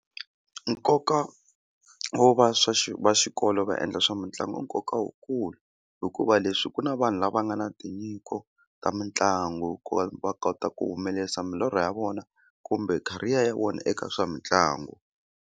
Nkoka wo va va xikolo va endla swa mitlangu i nkoka wu kulu hikuva leswi ku na vanhu lava nga na tinyiko ta mitlangu ku va va kota ku humelerisa milorho ya vona kumbe career ya vona eka swa mitlangu.